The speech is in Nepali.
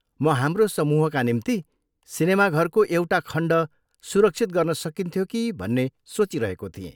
म हाम्रो समूहका निम्ति सिनेमाघरको एउटा खण्ड सुरक्षित गर्न सकिन्थ्यो कि भन्ने सोचिरहेको थिएँ।